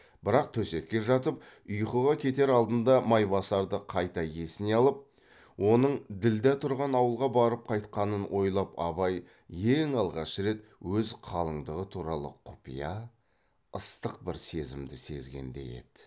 бірақ төсекке жатып ұйқыға кетер алдында майбасарды қайта есіне алып оның ділдә тұрған ауылға барып қайтқанын ойлап абай ең алғаш рет өз қалыңдығы туралы құпия ыстық бір сезімді сезгендей еді